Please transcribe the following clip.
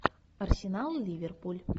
арсенал и ливерпуль